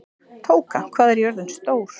Tóka, hvað er jörðin stór?